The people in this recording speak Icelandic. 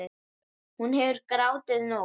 Hún hefur grátið nóg.